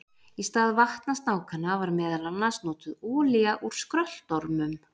Í stað vatnasnákanna var meðal annars notuð olía úr skröltormum.